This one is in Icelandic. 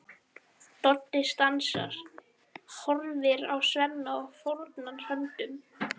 Doddi stansar, horfir á Svenna og fórnar höndum.